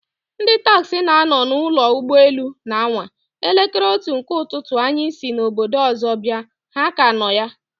Ndị taxi na nọ na ụlọ ụgbọ elu na anwa! Elekere otu nke ụtụtụ anyị si obodo ọzọ bịa, ha ka nọ ya